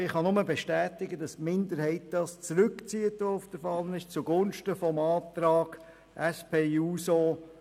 Ich kann nur bestätigen, dass die Minderheit ihren Antrag, der auf der Fahne steht, zugunsten des Antrags SP-JUSO-PSA zurückzieht.